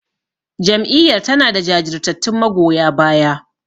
Jam'iyyar tanada jajirtattun magoya baya.